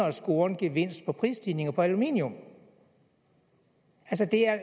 at score en gevinst på prisstigninger på aluminium altså det er